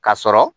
Ka sɔrɔ